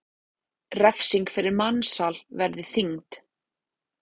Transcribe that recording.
Refsing fyrir mansal verði þyngd